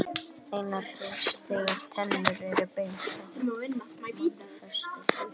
Einnig hreinsar það tennurnar með beinum hætti þegar matarleifar festast í því.